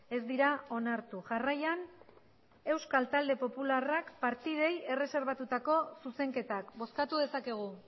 ez dira onartu jarraian euskal talde popularrak partidei erreserbatutako zuzenketak bozkatu dezakegu